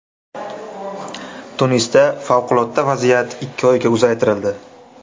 Tunisda favqulodda vaziyat ikki oyga uzaytirildi.